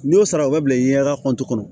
N'i y'o sara o bɛ bila i ɲɛdala kɔnti kɔnɔ